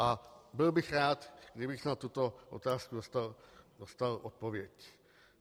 A byl bych rád, kdybych na tuto otázku dostal odpověď.